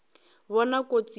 bona kotsi ye e ka